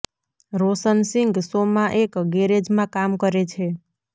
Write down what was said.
રોશન Singh show માં એક ગેરેજમાં કામ કરે છે